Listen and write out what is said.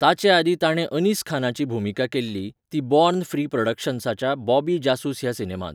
ताचे आदीं ताणें अनीस खानाची भुमिका केल्ली ती बॉर्न फ्री प्रॉडक्शन्साच्या बॉबी जासूस ह्या सिनेमांत.